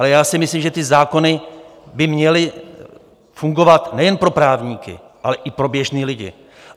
Ale já si myslím, že ty zákony by měly fungovat nejen pro právníky, ale i pro běžné lidi.